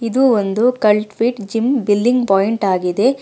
ಇದು ಒಂದು cult fit gym billing point ಆಗಿದೆ.